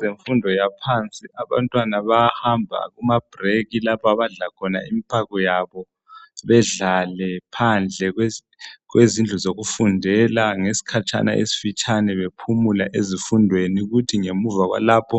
zemfundo yaphansi abantu bayahamba kuma break lapho abadla khona impako yabo bedlale phadle kwezindlu zokufundela ngesikhatshana esifitshana bephumula ezifundweni kuthi ngemuva kwalapho